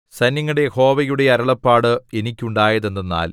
സൈന്യങ്ങളുടെ യഹോവയുടെ അരുളപ്പാട് എനിക്കുണ്ടായതെന്തെന്നാൽ